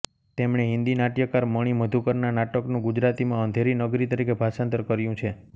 તેમણે હિન્દી નાટ્યકાર મણિ મધુકરના નાટકનું ગુજરાતીમાં અંધેરી નગરી તરીકે ભાષાંતર કર્યું છે